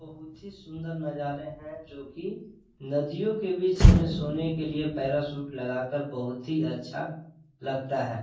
बहुत ही सुंदर नजारे है जोकि नदीया के बीच हमे सोने के लिए पैराशूट बहुत ही अच्छा लगता है।